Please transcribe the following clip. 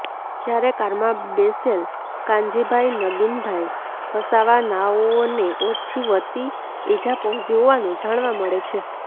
જ્યારે કારમાં બેસેલ કાનજીભાઈ નગીનભાઈ વસાવા નાઓને ઓછી વત્તિ ઇજા પહોંચી હોવાનું જાણવા મળે છે